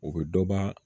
O bɛ dɔ ba